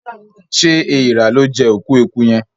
ṣe Èèrà lọ jé òkú ẹkú yén?